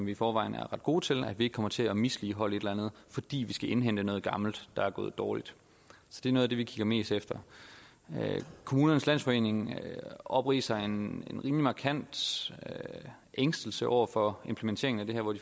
i forvejen er ret gode til at vi ikke kommer til at misligholde et eller andet fordi vi skal indhente noget gammelt der er gået dårligt så det er noget af det vi kigger mest efter kommunernes landsforening opridser en rimelig markant ængstelse over for implementeringen af det her hvor